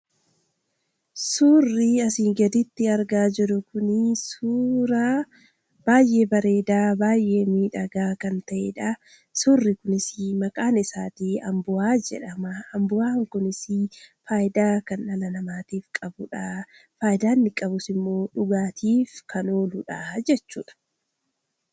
Surrii asi gaditti arga Jirru Kun suuraa baayyee bareeda baayyee miidhagaa kan ta'edha ! suurrii Kunis maqaan isaa ambo'a jedhama. ambo'a Kunis faayida kan dhala namaatiif qabudha. faayida inni qabus immoo dhugaatiidhaaf kan ooludha jechudha